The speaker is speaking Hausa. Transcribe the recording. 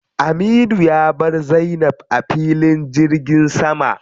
Aminu ya bar Zainab a filin jirgin sama.